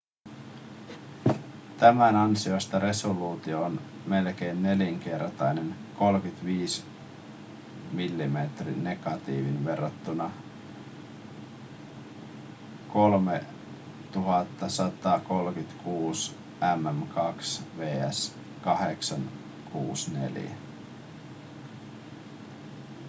tämän ansiosta resoluutio on melkein nelinkertainen 35 mm:n negatiiviin verrattuna 3136 mm2 vs. 864